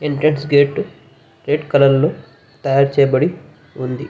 Entrance gate red colour లో తయారుచేయబడి ఉంది.